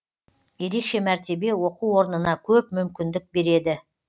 ерекше мәртебе оқу орнына көп мүмкіндік береді